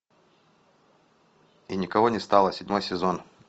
и никого не стало седьмой сезон